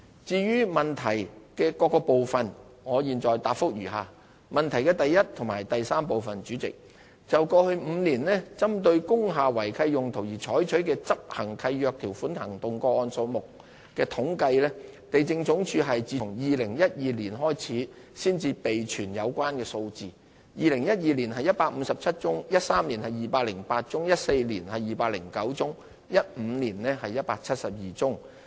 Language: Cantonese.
至於質詢的各個部分，我現答覆如下：一及三就過去5年針對工廈違契用途而採取的執行契約條款行動個案數目的統計，地政總署是自2012年才開始備存有關數字 ，2012 年是157宗、2013年是208宗、2014年是209宗、2015年是172宗。